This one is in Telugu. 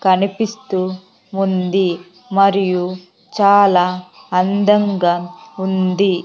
కనిపిస్తూ ఉంది మరియు చాలా అందంగా ఉంది .